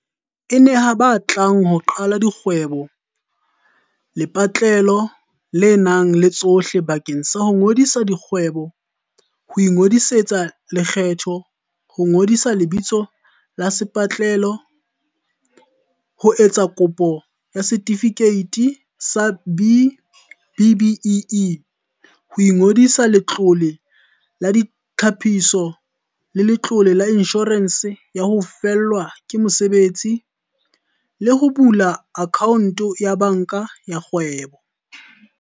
BizPortal e neha ba batlang ho qala dikgwebo lepatlelo le nang le tsohle bakeng sa ho ngodisa kgwebo, ho ingodisetsa lekgetho, ho ngodisa lebitso la lepatlelo, ho etsa kopo ya setifikeiti sa B-BBEE, ho ingodisetsa Letlole la Ditlhapiso le Letlole la Inshorense ya ho Fellwa ke Mosebetsi, le ho bula akhaonto ya banka ya kgwebo.